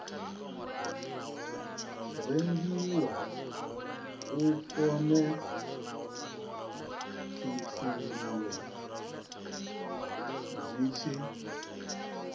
rengiwa u khonekhithululwe zwi tshi